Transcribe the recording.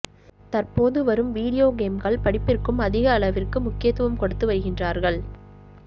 தற்போது வரும் வீடியோ கேம்கள் படிப்பிற்கும் அதிக அளவிற்கு முக்கியத்துவம் கொடுத்து வருகின்றார்கள்